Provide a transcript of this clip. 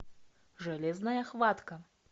железная хватка